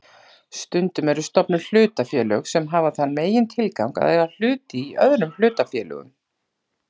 Stundum eru stofnuð hlutafélög sem hafa þann megintilgang að eiga hluti í öðrum hlutafélögum.